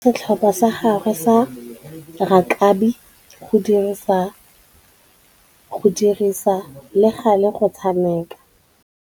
Tebogô o dumeletse setlhopha sa gagwe sa rakabi go dirisa le galê go tshameka.